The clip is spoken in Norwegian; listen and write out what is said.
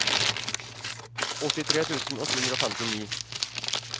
åttitre tusen åtte hundre og femtini